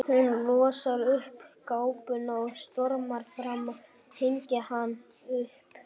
Hún losar um kápuna og stormar fram að hengja hana upp.